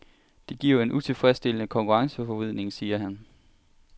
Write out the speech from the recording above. Det giver en utilfredsstillende konkurrenceforvridning, siger han.